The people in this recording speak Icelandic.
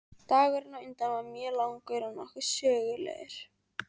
Dagurinn á undan var mjög langur og nokkuð sögulegur.